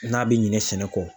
N'a bɛ ɲinɛ sɛnɛ kɔ.